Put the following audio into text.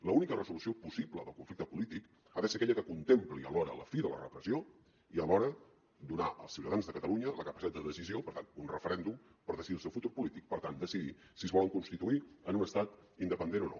l’única resolució possible del conflicte polític ha de ser aquella que contempli alhora la fi de la repressió i alhora donar als ciutadans de catalunya la capacitat de decisió per tant un referèndum per decidir el seu futur polític per tant decidir si es volen constituir en un estat independent o no